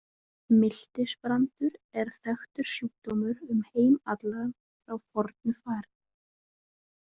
Miltisbrandur er þekktur sjúkdómur um heim allan frá fornu fari.